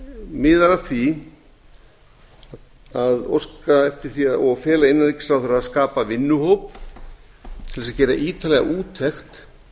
miðar að því að óska eftir því og að fela innanríkisráðherra að skapa vinnuhóp til þess að gera ítarlega úttekt